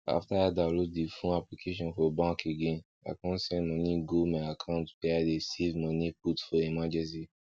after i download d fone application for bank again i con send moni go my account wey i dey save moni put for emergency